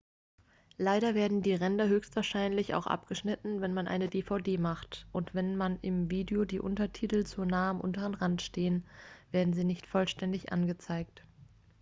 leider werden die ränder höchstwahrscheinlich auch abgeschnitten wenn man eine dvd macht und wenn im video die untertitel zu nahe am unteren rand stehen werden sie nicht vollständig angezeigt